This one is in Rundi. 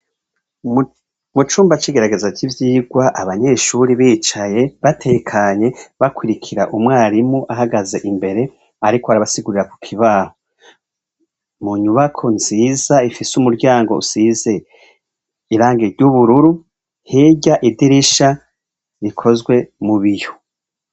Mucumba c'igerageza ry ivyigwa, abanyeshure bicaye batekanye, bakurikir 'umwarimu ahagaz' imbere, ariko arabasigurira kukibaho. Munyubako nziz' ifis' umuryang' usize irangi ry' ubururu, hiry' idirisha rikozwe mubiyo.